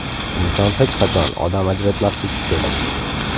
Inson hech qachon odam ajratmasligi kerak.